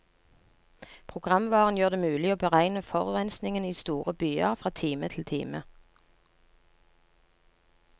Programvaren gjør det mulig å beregne forurensningen i store byer fra time til time.